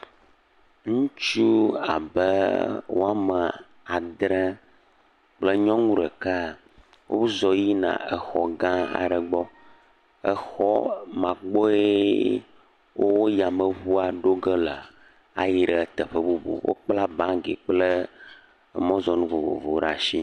ŋutsu abe woame adrɛ kple nyɔnu ɖeka wozɔ yina exɔ gã aɖe gbɔ, exɔ ma gbɔee o yameŋua ɖoge le ayi ɖe teƒe bubu, wokpla baŋgi kple emɔzɔnu vovovowo ɖe ashi.